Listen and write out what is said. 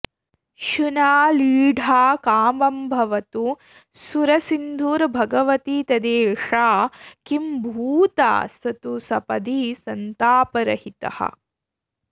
शुना लीढा कामं भवतु सुरसिन्धुर्भगवती तदेषा किम्भूता स तु सपदि सन्तापरहितः